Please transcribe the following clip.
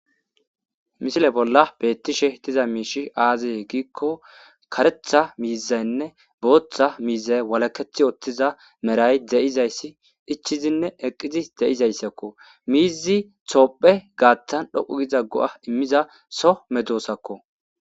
misile bolla beettishe diza miishi aaze giikko karetha miizaynne booththa miiza walaketh oottiza meray de7izayssi ichizinne eqqizi de7izayssakko miizi toophe gaattan dhoqu giza go7a immiza so medoosakko